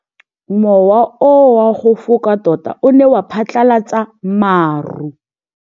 Mowa o wa go foka tota o ne wa phatlalatsa maru.